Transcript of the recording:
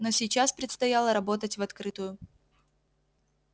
но сейчас предстояло работать в открытую